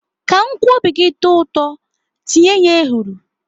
Ka nkwobi gị tọọ ụtọ, tinye ya ehuru.